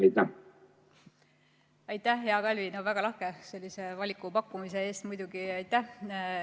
Aitäh, hea Kalvi, väga lahke valiku pakkumise eest!